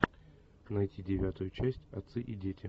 найти девятую часть отцы и дети